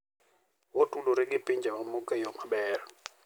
Otudore gi pinje mamoko e yo maber.